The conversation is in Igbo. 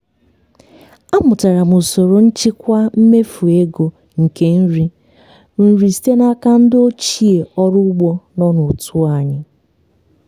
amụtara m usoro nchịkwa mmefu ego nke nri nri site n'aka ndị ochie ọrụ ugbo nọ n'otu anyị.